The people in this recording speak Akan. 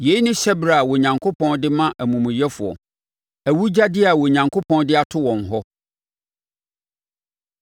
Yei ne hyɛberɛ a Onyankopɔn de ma amumuyɛfoɔ, awugyadeɛ a Onyankopɔn de ato wɔn hɔ.”